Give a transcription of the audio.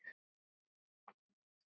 Ég er farin!